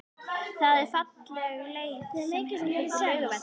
Það er falleg leið sem heitir Laugavegur.